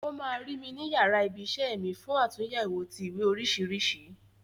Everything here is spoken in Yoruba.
O ma ru mi ni yara ibi isẹ́ mi fún àtúnyẹwò ti ìwé oríṣiríṣi.